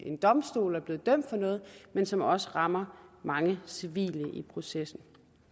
en domstol og er blevet dømt for noget men som også rammer mange civile i processen